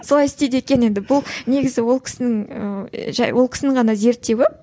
солай істейді екен енді бұл негізі ол кісінің ііі ол кісінің ғана зерттеуі